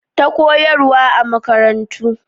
Ta koyarwa a makarantu